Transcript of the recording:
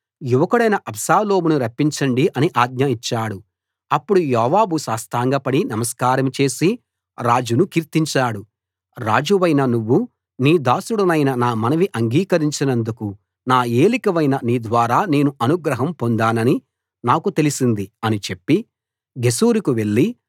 యువకుడైన అబ్షాలోమును రప్పించండి అని ఆజ్ఞ ఇచ్చాడు అప్పుడు యోవాబు సాష్టాంగపడి నమస్కారం చేసి రాజును కీర్తించాడు రాజువైన నువ్వు నీ దాసుడనైన నా మనవి అంగీకరించినందుకు నా ఏలికవైన నీ ద్వారా నేను అనుగ్రహం పొందానని నాకు తెలిసింది అని చెప్పి గెషూరుకు వెళ్లి